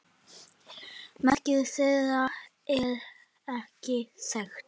Merking þeirra er ekki þekkt.